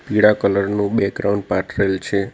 પીળા કલર નું બગ્રાઉન્ડ પાથરેલ છે.